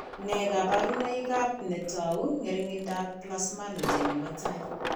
Nee kabarunoikab ne tou ng'ering'indoab Plasminogen nebo tai?